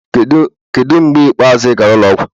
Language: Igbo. Kedu mgbe ikpeazụ ị gara ụlọ ọgwụ?